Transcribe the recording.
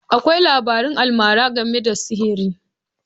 Akwai labarun almara game da sihiri.